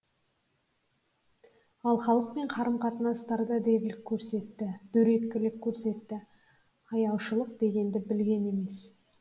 ал халықпен қарым қатынастарында дөрекілік көрсетті аяушылық дегенді білген емес